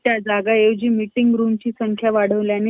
त्या जागा आहेत ज्यांची meeting room ची संख्या वाढवल्याने ,